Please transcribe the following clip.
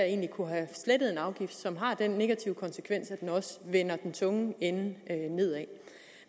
egentlig kunne have slettet en afgift som har den negative konsekvens at den også vender den tunge ende nedad